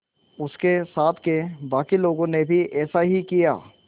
उसके साथ के बाकी लोगों ने भी ऐसा ही किया